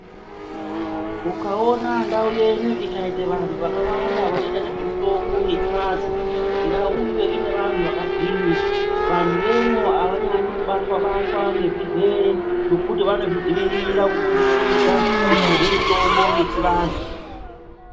Ukaona ndau yenyu ikaita vantu vakawanda vanoita nezvemutombo yechivantu ndau iyoyo inevantu vakagwinya, vantu vemo havanyanyi kubatwa-batwa ngezvirwere nekuti vanozvidzivirira kuburikidza nekudye mitombo yechivantu.